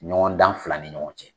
Ɲɔgɔn dan fila ni ɲɔgɔn cɛ.